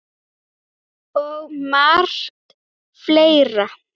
Og margt fleira.